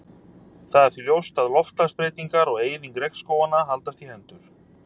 Það er því ljóst að loftslagsbreytingar og eyðing regnskóganna haldast í hendur.